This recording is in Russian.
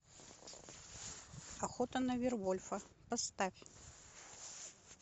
охота на вервольфа поставь